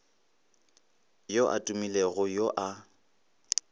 yo a tumilego yo a